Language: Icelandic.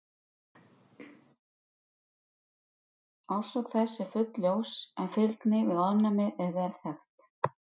Orsök þess er ekki fullljós en fylgni við ofnæmi er vel þekkt.